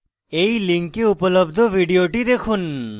এই link উপলব্ধ video দেখুন